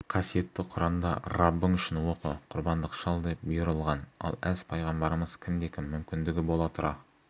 қасиетті құранда раббың үшін оқы құрбандық шал деп бұйырылған ал әз-пайғамбарымыз кімде-кім мүмкіндігі бола тұра